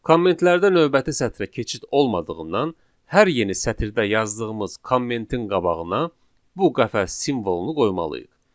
Kommentlərdə növbəti sətrə keçid olmadığından hər yeni sətirdə yazdığımız kommentin qabağına bu qəfəs simvolunu qoymalıyıq.